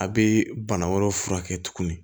A bɛ bana wɛrɛw furakɛ tuguni